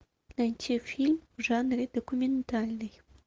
найти фильм в жанре документальный